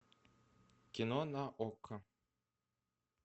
кино на окко